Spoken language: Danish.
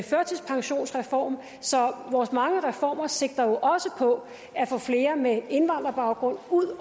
førtidspensionsreform så vores mange reformer sigter jo også på at få flere med indvandrerbaggrund ud